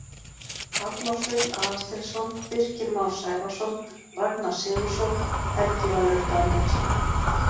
Arnór Sveinn Aðalsteinsson Birkir Már Sævarsson Ragnar Sigurðsson Helgi Valur Daníelsson